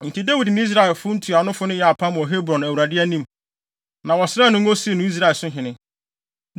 Enti Dawid ne Israel ntuanofo no yɛɛ apam wɔ Hebron Awurade anim. Na wɔsraa no ngo sii no Israelhene.